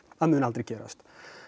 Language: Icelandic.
að mun aldrei gerast